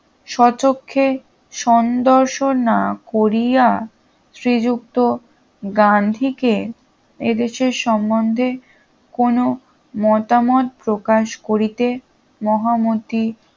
স্বচক্ষে সন্দর্শন না করিয়া শ্রীযুক্ত গান্ধীকে এদেশের সম্বন্ধে কোনো মতামত প্রকাশ করিতে মহামতি